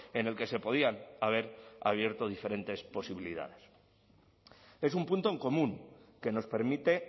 en el que se podían haber abierto diferentes posibilidades es un punto en común que nos permite